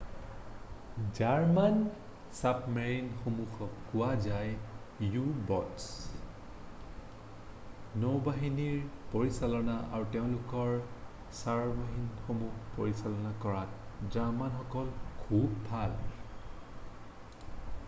German চাবমেৰিণসমূহক কোৱা হয় ইউ-ব'টছ নৌবাহিনীৰ পৰিচালনা আৰু তেওঁলোকৰ চাবমেৰিনসমূহ পৰিচালনা কৰাত জাৰ্মানসকল খুব ভাল